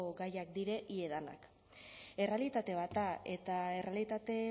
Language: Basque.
gaiak dire ia danak errealitate bat da eta errealitate